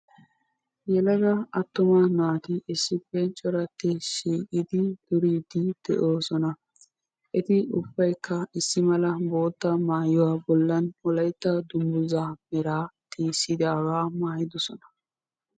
yelaga attuma naati issipe corati shiiqidi duridi de'oosona. eti ubaykka boota maayuwa bollan wolaytta dungguzza meraa maayidoosona.